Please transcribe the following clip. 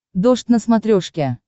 дождь на смотрешке